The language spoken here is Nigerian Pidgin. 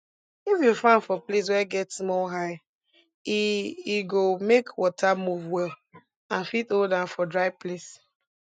if you farm for place wey get small high e e go make water move well and fit hold am for dry place